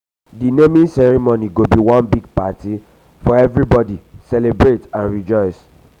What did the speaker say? di naming ceremony go be one big party for everybody celebrate and rejoice.